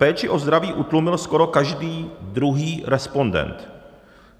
péči o zdraví utlumil skoro každý druhý respondent.